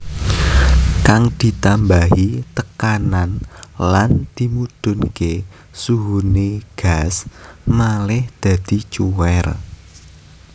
Kang ditambahi tekanan lan dimudhunké suhuné gas malih dadi cuwèr